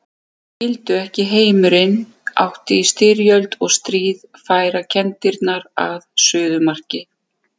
Þeir skildu ekki að heimurinn átti í styrjöld og stríð færa kenndirnar að suðumarki.